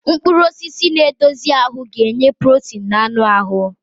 Mkpụrụ osisi na-edozi ahụ ga-enye protein na anụ ahụ.